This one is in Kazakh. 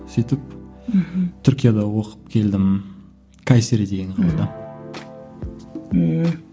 сөйтіп мхм түркияда оқып келдім кайсери деген қалада ммм